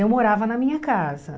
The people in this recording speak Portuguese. Eu morava na minha casa.